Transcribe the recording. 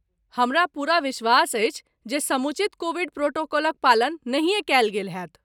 हमरा पूरा विश्वास अछि जे समुचित कोविड प्रोटोकॉलक पालन नहियें कयल गेल होयत।